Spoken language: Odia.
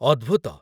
ଅଦ୍ଭୁତ